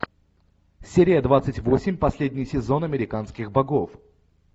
серия двадцать восемь последний сезон американских богов